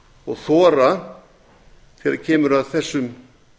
og þora þegar kemur að þessum